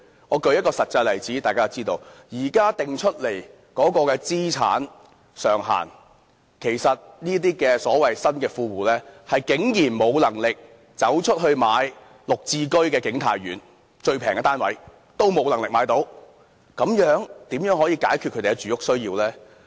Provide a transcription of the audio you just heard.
我舉出一個實際例子，以現在所訂的資產上限來計算，其實這些所謂新的富戶，是竟然沒有能力購置綠表置居先導計劃下景泰苑最便宜的單位，如此怎樣可以解決他們的住屋需要呢？